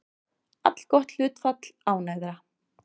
Allgott hlutfall ánægðra